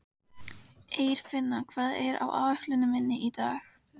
Eirfinna, hvað er á áætluninni minni í dag?